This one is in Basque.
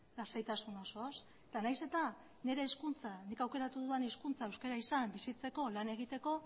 lasaitasun osoz eta nahiz eta nire hizkuntza nik aukeratu dudan hizkuntza euskara izan bizitzeko lan egiteko